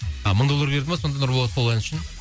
мың доллар берді ме сонда нұрболат сол ән үшін